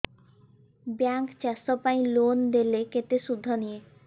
bank ଚାଷ ପାଇଁ loan ଦେଲେ କେତେ ସୁଧ ନିଏ